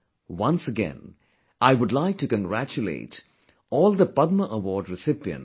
Once again, I would like to congratulate all the Padma award recipients